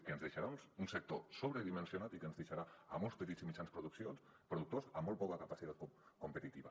que ens deixarà un sector sobredimensionat i que ens deixarà a molts petits i mitjans productors amb molt poca capacitat competitiva